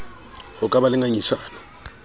ho ka ba le ngangisano